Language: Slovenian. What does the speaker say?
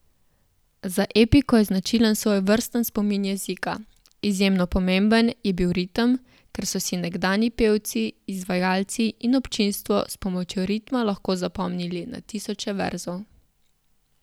Za epiko je značilen svojevrsten spomin jezika, izjemno pomemben je bil ritem, ker so si nekdanji pevci, izvajalci in občinstvo s pomočjo ritma lahko zapomnili na tisoče verzov.